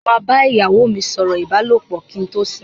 Mo máa bá ìyàwó mi sọ̀rọ̀ ìbálòpọ̀ kí n tó sùn.